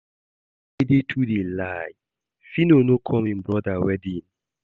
Dede too dey lie, Phyno no come im brother wedding